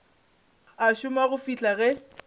a šoma go fihla ge